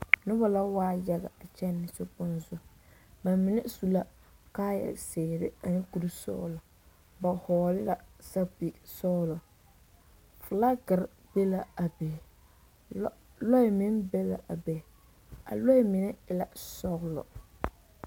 Noba la waa yaga a kyɛnɛ sokpoŋ zu ba mine su la kaayazeere ane kurisɔglɔ ba vɔgle la sapige sɔglɔ filaagere be la a be lɔɛ meŋ be la a be a lɔɛ mine e la sɔglɔ.